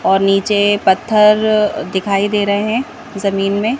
और नीचे पत्थर दिखाई दे रहे हैं जमीन में।